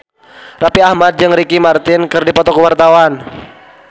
Raffi Ahmad jeung Ricky Martin keur dipoto ku wartawan